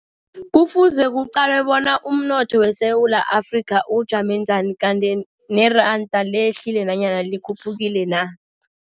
Kufuze kuqalwe bona umnotho weSewula Afrika ujame njani, kanti neranda lehlile nanyana likhuphukile na.